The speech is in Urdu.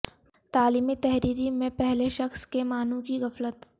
تعلیمی تحریری میں پہلے شخص کے معنوں کی غفلت